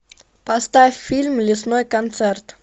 поставь фильм лесной концерт